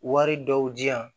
Wari dɔw di yan